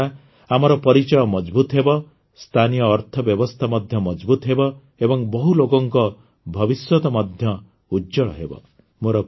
ଏହାଦ୍ୱାରା ଆମର ପରିଚୟ ମଜଭୁତ ହେବ ସ୍ଥାନୀୟ ଅର୍ଥବ୍ୟବସ୍ଥା ମଧ୍ୟ ମଜଭୁତ ହେବ ଏବଂ ବହୁ ଲୋକଙ୍କ ଭବିଷ୍ୟତ ମଧ୍ୟ ଉଜ୍ଜ୍ୱଳ ହେବ